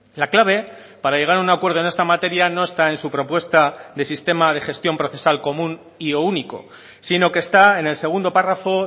la clave para llegar a un acuerdo en esta materia no está en su propuesta de sistema de gestión procesal común y o único sino que está en el segundo párrafo